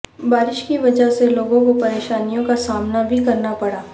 بارش کی وجہ سے لوگوں کو پریشانیوں کا سامنا بھی کرنا پڑا